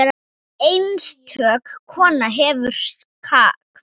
Einstök kona hefur kvatt.